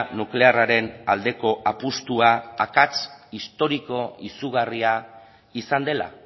nuklearraren aldeko apustua akats historiko izugarria izan dela